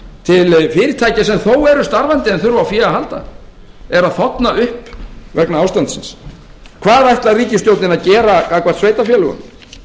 til fyrirtækja sem þó eru starfandi en þurfa á því að halda eru að þorna upp vegna ástandsins hvað ætlar ríkisstjórnin að gera gagnvart sveitarfélögunum